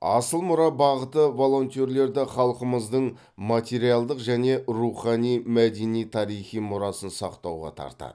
асыл мұра бағыты волонтерлерді халқымыздың материалдық және рухани мәдени тарихи мұрасын сақтауға тартады